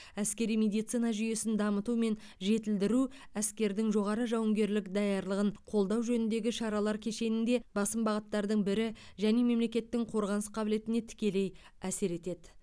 әскери медицина жүйесін дамыту мен жетілдіру әскердің жоғары жауынгерлік даярлығын қолдау жөніндегі шаралар кешенінде басым бағыттардың бірі және мемлекеттің қорғаныс қабілетіне тікелей әсер етеді